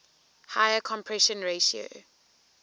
higher compression ratio